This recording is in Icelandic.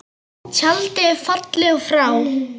Tjaldið er fallið og frá.